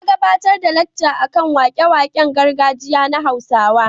Ya gabatar da lacca a kan wake-waken gargajiya na Hausawa.